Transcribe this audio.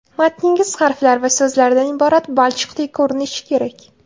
Matningiz harflar va so‘zlardan iborat balchiqdek ko‘rinishi kerak.